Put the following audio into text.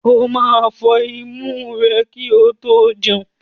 O máa fọn imú rẹ kí o tó jẹun.